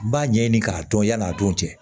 N b'a ɲɛɲini k'a dɔn yan'a don cɛ